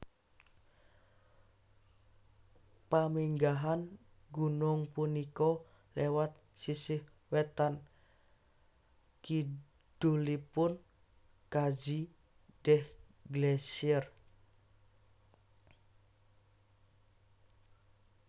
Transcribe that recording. Paminggahan gunung punika lewat sisih wetan kidulipun Qadzi Deh Glacier